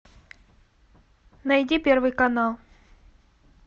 найди первый канал